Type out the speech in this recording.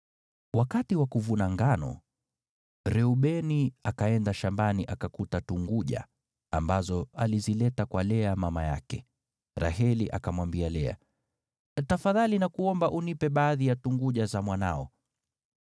Wakati wa kuvuna ngano, Reubeni akaenda shambani akakuta tunguja, ambazo alizileta kwa Lea mama yake. Raheli akamwambia Lea, “Tafadhali nakuomba unipe baadhi ya tunguja za mwanao.”